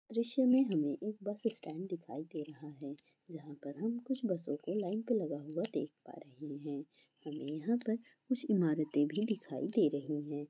दृश्य में हमें एक बस स्टैंड दिखाई दे रहा है जहाँ पर हम कुछ बसों को लाइन पे लगा हुआ देख पा रहे हैं हमें यहाँ पर कुछ इमारतें भी दिखाई दे रही हैं।